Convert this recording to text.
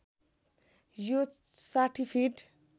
यो ६० फीट